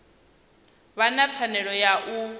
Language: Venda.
vha na pfanelo ya u